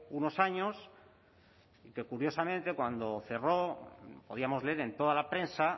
unos años que curiosamente cuando cerró podíamos leer en toda la prensa